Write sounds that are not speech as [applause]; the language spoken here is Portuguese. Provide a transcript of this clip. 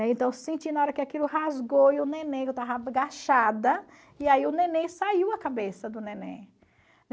Então eu senti na hora que aquilo rasgou e o neném [unintelligible] agachada e aí o neném saiu a cabeça do neném.